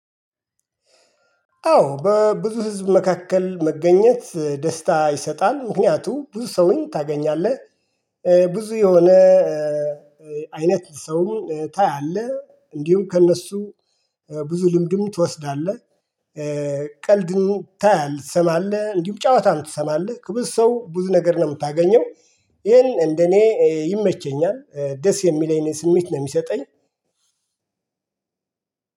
አዎ በብዙ ህዝብ መካከል መገኘት ደስታ ይሰጣል ምክንያቱ ብዙ ሰውን ታገኛለህ። ብዙ የሆነ አይነት ሰውን ታያለህ እንዲሁም ከእነሱ ብዙ ልምድም ትወስዳለህ። ቀልድም ታያለህ ትሰማለህ እንዲሁ ጨዋታም ትሰማለህ ብዙ ሰው ብዙ ነገር ነው የምታገኘው። ይሄን እንደኔ ይመቸኛል ደስ የሚለኝን ስሜት ነው የሚሰጠኝ።